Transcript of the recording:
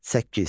Səkkiz.